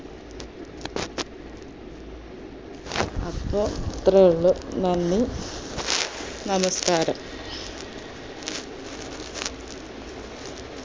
അപ്പൊ ഇത്രയുള്ളൂ നന്ദി നമസ്ക്കാരം